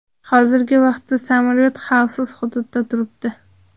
Hozirgi vaqtda samolyot xavfsiz hududda turibdi.